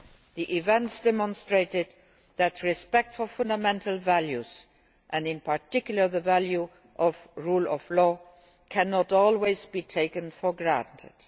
The events demonstrated that respect for fundamental values and in particular the value of rule of law cannot always be taken for granted.